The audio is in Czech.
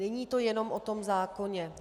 Není to jenom o tom zákoně.